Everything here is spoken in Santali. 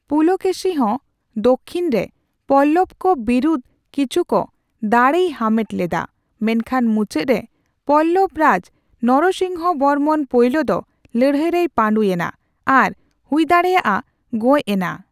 ᱯᱩᱞᱠᱮᱥᱤ ᱦᱚᱸ ᱫᱚ ᱪᱷᱤᱱ ᱨᱮ ᱯᱚᱞᱞᱵᱚᱠᱚ ᱵᱤᱨᱩᱫ ᱠᱤᱪᱷᱩᱠ ᱫᱟᱲᱮᱭ ᱦᱟᱢᱮᱴ ᱞᱮᱫᱟ, ᱢᱮᱱᱠᱷᱟᱱ ᱢᱩᱪᱟᱹᱫᱨᱮ ᱯᱚᱞᱞᱵᱚ ᱨᱟᱡᱽ ᱱᱚᱨᱥᱤᱝᱦᱚ ᱵᱚᱨᱢᱚᱱ ᱯᱳᱭᱞᱳ ᱫᱚ ᱞᱟᱹᱲᱦᱟᱹᱭ ᱨᱮᱭ ᱯᱟᱹᱰᱩ ᱮᱱᱟ ᱟᱨ ᱦᱩᱭᱫᱟᱲᱮᱭᱟᱜᱼᱟ ᱜᱚᱡᱽ ᱮᱱᱟ ᱾